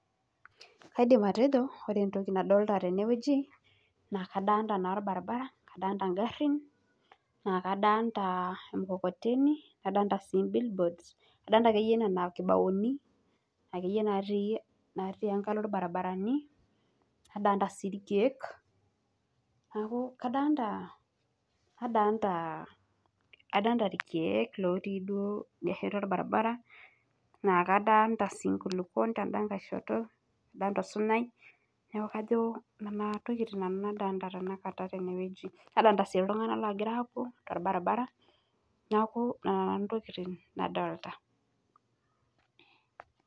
Kaidim atejo ore entoki nadolita tene naa kadolita olbaribara ogharhin naa kadolita emukokoteni wolkibaoni natii ngalo olbaribarani nadolita sii ilkiek naa kadolita sii inkulukuon ten'da kae shoto wosunyai Nadolita sii iltung'anak loogira aapuo tolbaribara